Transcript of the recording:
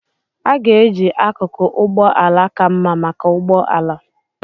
A ga-eji akụkụ ụgbọ ala ka mma maka ụgbọ ala.